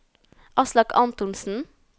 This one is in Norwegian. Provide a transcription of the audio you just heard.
Aslak Antonsen